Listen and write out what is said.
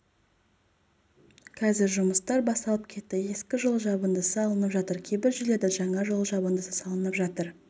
қазір жұмыстар басталып кетті ескі жол жабындысы алынып жатыр кейбір жерлерде жаңа жол жабындысы салынып жатыр